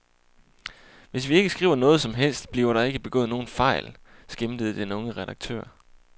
Hvis vi ikke skriver noget som helst, bliver der ikke begået nogen fejl, skæmtede den unge redaktør.